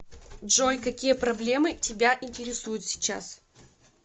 джой какие проблемы тебя интересуют сейчас